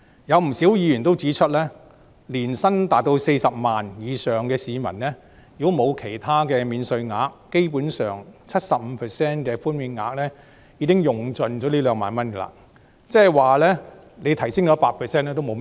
有不少議員也指出，對於年薪達40萬元以上的市民而言，如果沒有其他免稅額，基本上 ，75% 的寬免額已可以用盡這2萬元，即是說，即使提升至 100% 寬免額也沒有甚麼意義。